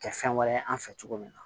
Kɛ fɛn wɛrɛ an fɛ cogo min na